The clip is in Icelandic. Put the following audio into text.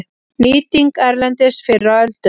Nýting erlendis fyrr á öldum